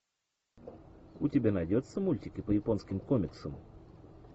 у тебя найдется мультики по японским комиксам